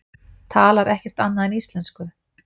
Talar ekkert annað en íslensku!